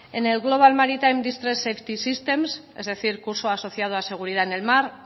en el global maritime distress and safety system es decir curso asociado a seguridad en el mar